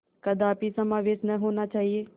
कदापि समावेश न होना चाहिए